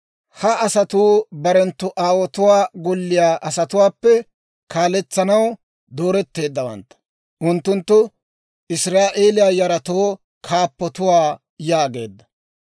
Ha asatuu barenttu aawotuwaa golliyaa asatuwaappe kaaletsanaw dooretteeddawantta; unttunttu Israa'eeliyaa yaratoo kaappatuwaa» yaageedda.